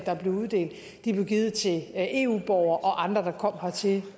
der blev uddelt givet til eu borgere og andre der kom hertil